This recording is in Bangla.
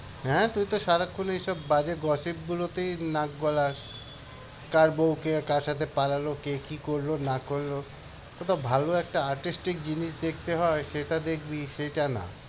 হ্যাঁ তুই তো সারাক্ষণ এইসব বাজে gossip গুলিতেই নাক গলাস। কার বউ কার সাথে পালালো, কে কি করলো না করলো। কত ভালো একটা artistic জিনিস দেখতে হয় সেইটা দেখবি সেইটা না।